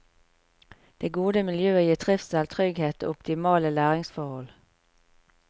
Det gode miljøet gir trivsel, trygghet og optimale læringsforhold.